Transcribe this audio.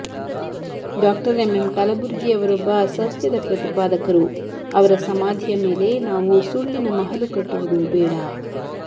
ಡಾ M M Kalburgi ಅವರೊಬ್ಬ ಸತ್ಯದ ಪ್ರತಿಪಾದಕರು ಅವರ ಸಮಾಧಿಯ ಮೇಲೆ ನಾವು ಸುಳ್ಳಿನ ಮಹಲು ಕಟ್ಟುವುದು ಬೇಡಾ